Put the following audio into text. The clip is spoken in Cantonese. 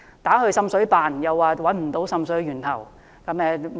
為何找不到滲水源頭？